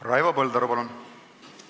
Raivo Põldaru, palun!